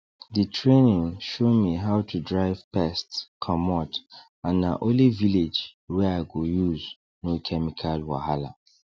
the training show me how to drive pest comot and na only village way i go use no chemical wahala